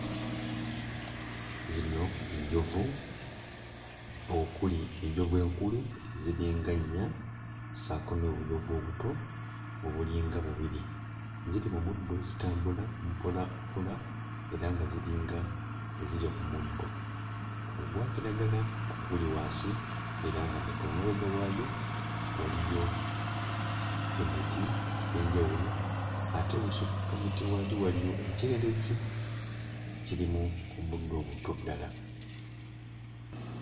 Zino njovu okuli enjovu enkulu ziringa nnya ssaako n'obuyovu obuto obulinga bubiri ziri mu muddo zitambula mpola mpola era nga ziringa ezirya ku muddo ogwa kiragala oguli wansi era nga muto. Emabega waayo waliyo emiti egy'enjawulo ate ebusukka muti wali waliyo ekyererezi ekirimu omuddo omuto ddala.